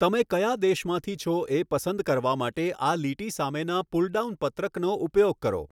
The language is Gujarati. તમે કયા દેશમાંથી છો એ પસંદ કરવા માટે આ લીટી સામેના પુલડાઉન પત્રકનો ઉપયોગ કરો.